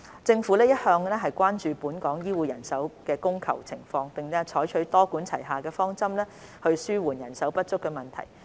政府一向關注本港醫護人手供求情況，並採取多管齊下的方針紓緩人手不足問題。